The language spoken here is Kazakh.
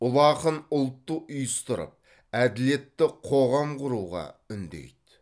ұлы ақын ұлтты ұйыстырып әділетті қоғам құруға үндейді